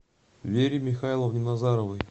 вере михайловне назаровой